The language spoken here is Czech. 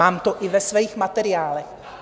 Mám to i ve svých materiálech.